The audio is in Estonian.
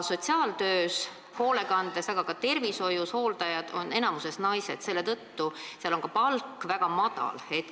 Sotsiaaltöös, hoolekandes, aga ka tervishoius on hooldajad enamikus naised, selle tõttu on seal ka palk väga madal.